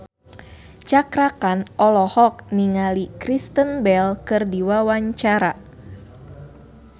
Cakra Khan olohok ningali Kristen Bell keur diwawancara